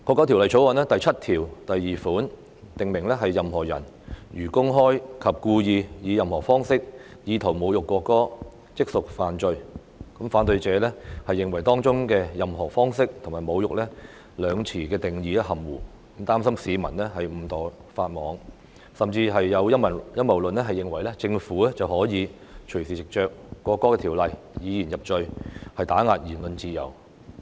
《條例草案》第72條訂明，"任何人如公開及故意以任何方式侮辱國歌，即屬犯罪"，反對者認為當中的"任何方式"和"侮辱"兩詞的定義含糊，擔心市民誤墮法網，甚至有陰謀論認為政府可以隨時就《條例草案》以言入罪，打壓言論自由。